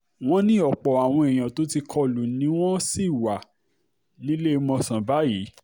wọ́n ní ọ̀pọ̀ àwọn èèyàn tó ti kọ lù ni wọ́n sì wà níléemọ̀sán báyìí